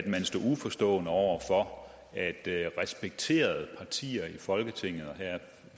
man stod uforstående over for at respekterede partier i folketinget og her